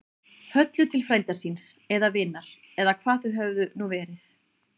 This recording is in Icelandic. Höllu til frænda síns. eða vinar. eða hvað þau höfðu nú verið.